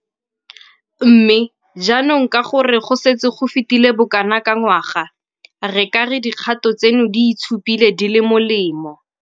Mme, jaanong ka gore go setse go fetile bokana ka ngwaga, re ka re dikgato tseno di itshupile di le molemo.